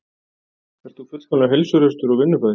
Ert þú fullkomlega heilsuhraustur og vinnufær?